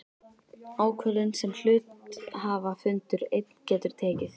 ákvörðun sem hluthafafundur einn getur tekið.